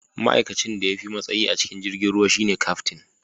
ma'aikacin da ya fi matsayi a cikin jirgin ruwan shi ne Kaftin